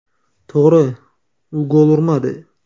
To‘g‘ri, u gol urmadi.